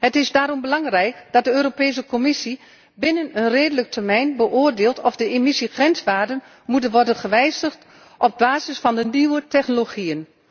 Het is daarom belangrijk dat de Europese Commissie binnen een redelijke termijn beoordeelt of de emissiegrenswaarden moeten worden gewijzigd op basis van de nieuwe technologieën.